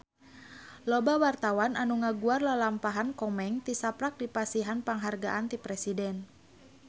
Loba wartawan anu ngaguar lalampahan Komeng tisaprak dipasihan panghargaan ti Presiden